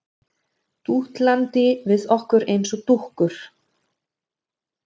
Dútlandi við okkur eins og dúkkur.